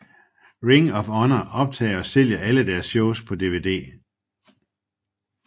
Ring of Honor optager og sælger alle deres shows på dvd